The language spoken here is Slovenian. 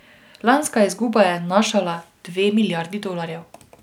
Lanska izguba je znašala dve milijardi dolarjev.